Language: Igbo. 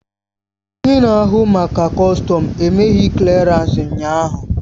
Onye na-ahụ maka kọstọm emeghị klịarans ụnyaahụ